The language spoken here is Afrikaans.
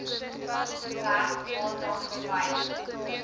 werk waarna verwys